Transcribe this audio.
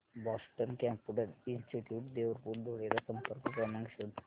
Boston computer institute Devpur Dhule चा संपर्क क्रमांक शोध